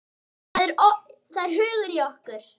Það er hugur í okkur.